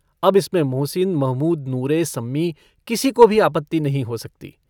अब इसमें मोहसिन महमूद नूरे सम्मी किसी को भी आपत्ति नहीं हो सकती।